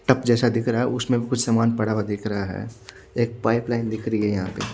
टप जेसा दिख रहा है उसमे कुछ सामान पड़ा हुआ दिख रहा है एक पाइपलाइन दिख रही है यहाँ पे--